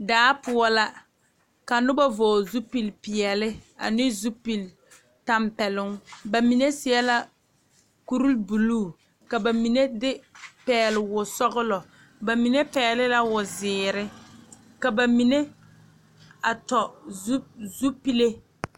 Daa poɔ la ka noba vɔgele zupili peɛle ane zupili tɛmpɛloŋ ba mine seɛ la kuri buluu ka ba mine de pɛgele wo sɔgelɔ ba mine pɛgele la wo zeere ka ba mime a tɔ zu zupile